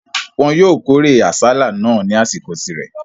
Wọn yóò kórè àsálà náà ní àsìkò rẹ̀.